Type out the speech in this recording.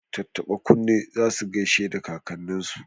Tattaba kunne za su gaishe da kakanninsu.